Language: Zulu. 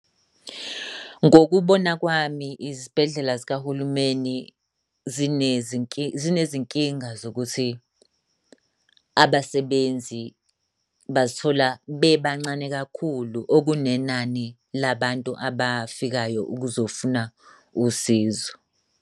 Ngokubona kwami, izibhedlela zikahulumeni zinezinkinga zokuthi abasebenzi bazithola bebancane kakhulu okunenani labantu abafikayo ukuzofuna usizo.